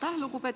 Aitäh!